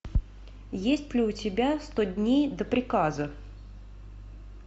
есть ли у тебя сто дней до приказа